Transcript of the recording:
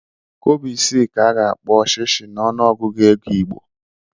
Kobo isii ka a ga-akpọ shishi n'ọnụọgụgụ ego Igbo.